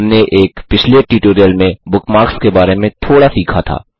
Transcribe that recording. हमने एक पिछले ट्यूटोरियल में बुकमार्क्स के बारे में थोड़ा सीखा था